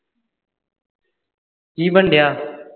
ਕੀ ਬਨਣ ਡਆ